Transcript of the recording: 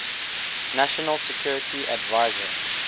national security advisor